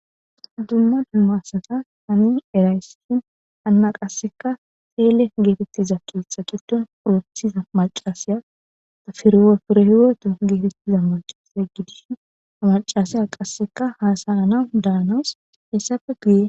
dumma dummasata hami erayssshin anna qasseka feele geetettiza keetha qitton orettiza macasiya tafirowapurehiwaoto geetettiza macasiya gidishin amacasaya qasseka haasayanawu daanawus hessafe guye